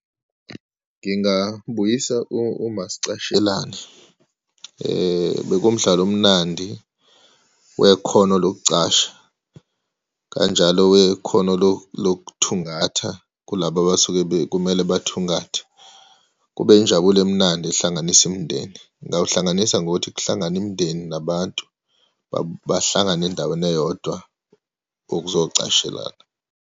Ngingabuyisa umasichashelane, bekuwumdlalo omnandi wekhono lokucasha, kanjalo wekhono lokuthungatha kulaba abasuke kumele bathungathe, kube injabulo emnandi ehlanganisa imindeni. Ngingawuhlanganisa ngokuthi kuhlangane imindeni nabantu bahlangane endaweni eyodwa okuzokucashelana.